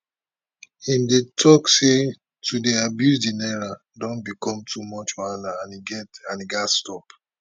im dey tok say to dey abuse di naira don become too much wahala and e gatz stop